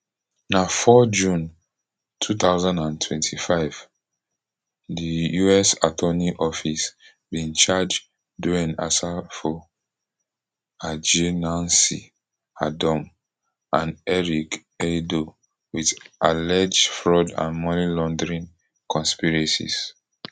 on four june two thousand and twenty-five di us attorney office bin charge dwayne asafo adjei nancy adom and eric aidoo wit alleged fraud and money laundering conspiracies